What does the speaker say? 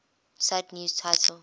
cite news title